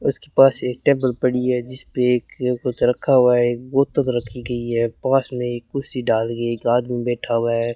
उसके पास एक टेबल पड़ी है जिसपे एक कुछ रखा हुआ है एक बोतल रखी गई है पास में एक कुर्सी डाल के एक आदमी बैठा हुआ है।